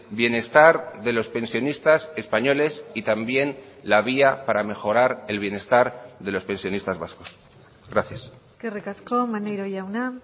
bienestar de los pensionistas españoles y también la vía para mejorar el bienestar de los pensionistas vascos gracias eskerrik asko maneiro jauna